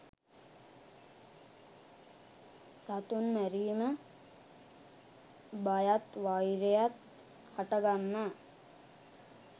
සතුන් මැරීම බයත් වෛරයත් හටගන්නා